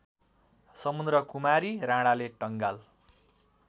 समुद्रकुमारी राणाले टंगाल